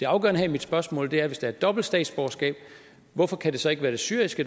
afgørende i mit spørgsmål er hvis der er et dobbelt statsborgerskab hvorfor kan det så ikke være det syriske